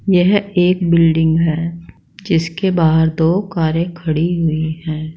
यह एक बिल्डिंग है जिसके बाहर दो कारें खड़ी हुई हैं।